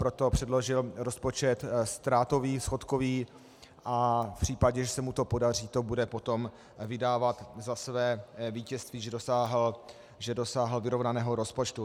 Proto předložil rozpočet ztrátový, schodkový a v případě, že se mu to podaří, to bude potom vydávat za své vítězství, že dosáhl vyrovnaného rozpočtu.